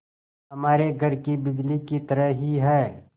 हमारे घर की बिजली की तरह ही है